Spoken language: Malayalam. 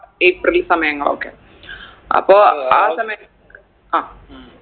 ഏപ്രിൽ സമയങ്ങളൊക്കെ അപ്പൊ ആ സമയ ആ